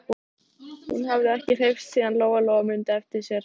Það var þá sem hann missti hornin.